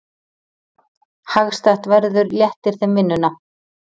Hagstætt verður léttir þeim vinnuna.